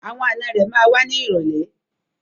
Àwọn ànọ́ rẹ̀ ma wá ní ìrọ̀lẹ́.